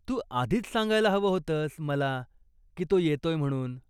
तू आधीच सांगायला हवं होतंस मला की तो येतोय म्हणून.